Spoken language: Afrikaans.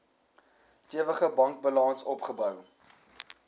stewige bankbalans opgebou